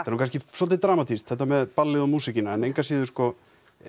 er nú kannski svolítið dramatískt þetta með ballið og músíkina en engu að síður sko